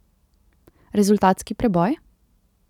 Rezultatski preboj?